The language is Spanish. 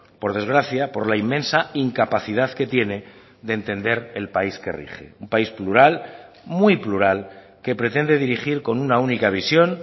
por desgracia por la inmensa incapacidad que tiene de entender el país que rige un país plural muy plural que pretende dirigir con una única visión